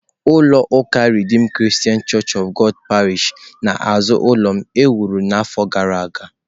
Ulọ uká redeem Christian Church of God parish n'azụ ụlọ m e wuru afọ gara aga